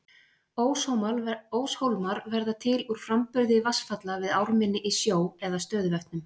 óshólmar verða til úr framburði vatnsfalla við ármynni í sjó eða stöðuvötnum